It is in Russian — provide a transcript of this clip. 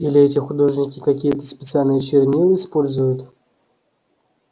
или эти художники какие-то специальные чернила используют